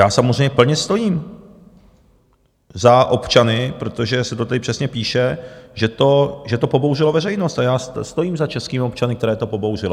Já samozřejmě plně stojím za občany - protože se to tady přesně píše, že to pobouřilo veřejnost - a já stojím za českými občany, které to pobouřilo.